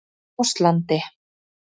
Áslandi